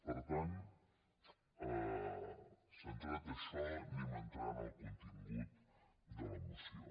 per tant centrat això anem a entrar en el contingut de la moció